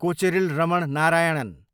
Kocheril Raman Narayanan